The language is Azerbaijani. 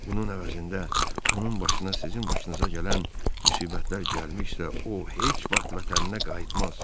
Bunun əvəzində onun başına sizin başınıza gələn müsibətlər gəlmişsə, o heç vaxt vətəninə qayıtmaz.